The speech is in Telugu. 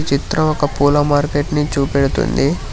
చిత్రం ఒక పూల మార్కెట్ నీ చూపెడుతుంది.